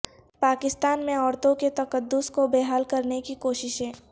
پاکستان میں عورتوں کے تقدس کو بحال کرنے کی کوششیں